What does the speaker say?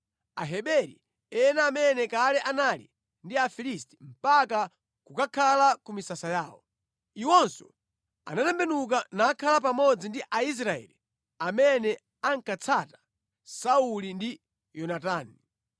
Aheberi ena amene kale anali ndi Afilisti mpaka kukakhala ku misasa yawo, iwonso anatembenuka nakhala pamodzi ndi Aisraeli amene ankatsata Sauli ndi Yonatani.